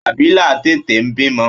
Abila tètè bímọ.